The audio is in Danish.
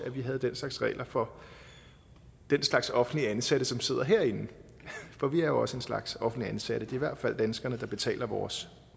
med den slags regler for den slags offentligt ansatte som sidder herinde for vi er jo også en slags offentligt ansatte det hvert fald danskerne der betaler vores